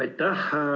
Aitäh!